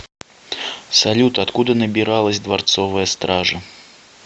салют откуда набиралась дворцовая стража